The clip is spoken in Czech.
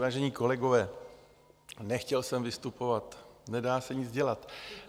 Vážení kolegové, nechtěl jsem vystupovat, nedá se nic dělat.